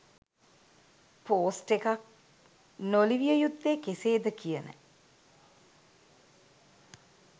post එකක් නොලිවිය යුත්තේ කෙසේද කියන